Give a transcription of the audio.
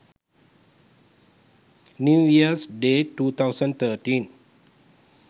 new years day 2013